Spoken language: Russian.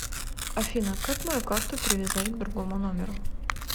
афина как мою карту привязать к другому номеру